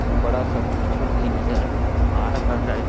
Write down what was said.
एक बड़ा सा तिरछुल भी नजर आ रहा है।